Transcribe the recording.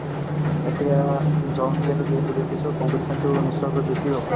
এতিয়া যিহেতু যিহেতু বেছি so competition তো নিশ্চয়কৈ বেছিয়ে হ'ব